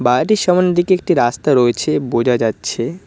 বাড়িটির সামোনের দিকে একটি রাস্তা রয়েছে বোজা যাচ্ছে।